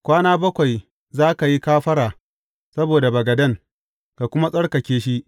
Kwana bakwai za ka yi kafara saboda bagaden, ka kuma tsarkake shi.